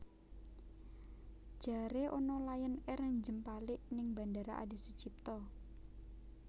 Jare ana Lion Air njempalik ning Bandara Adi Sucipto